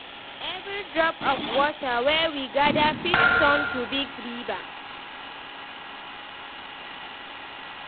Every drop of water wey we gather fit turn to big river.